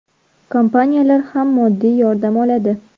Kompaniyalar ham moddiy yordam oladi.